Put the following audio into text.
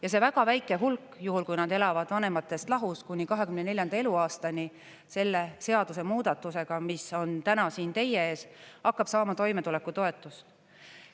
Ja see väga väike hulk, juhul kui nad elavad vanematest lahus, kuni 24. eluaastani selle seadusemuudatusega, mis on täna siin teie ees, hakkab saama toimetulekutoetust.